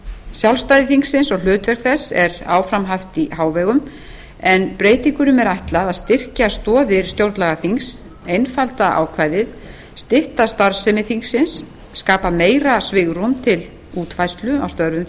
sjálfstæði þingsins og hlutverk þess er áfram haft í hávegum en breytingunum er ætlað að styrkja stoðir stjórnlagaþings einfalda ákvæðið stytta starfsemi þingsins skapa meira svigrúm til útfærslu á störfum